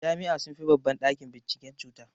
Jami'a sunfi babban ɗakin binciken cuta.